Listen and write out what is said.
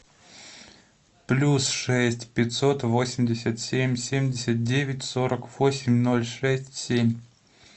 плюс шесть пятьсот восемьдесят семь семьдесят девять сорок восемь ноль шесть семь